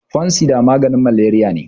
fansida maganin malariya ne